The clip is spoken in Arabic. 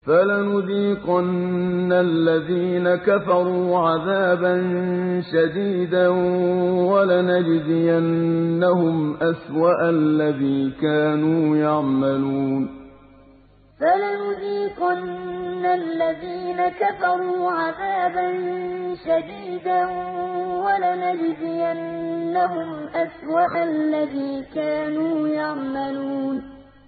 فَلَنُذِيقَنَّ الَّذِينَ كَفَرُوا عَذَابًا شَدِيدًا وَلَنَجْزِيَنَّهُمْ أَسْوَأَ الَّذِي كَانُوا يَعْمَلُونَ فَلَنُذِيقَنَّ الَّذِينَ كَفَرُوا عَذَابًا شَدِيدًا وَلَنَجْزِيَنَّهُمْ أَسْوَأَ الَّذِي كَانُوا يَعْمَلُونَ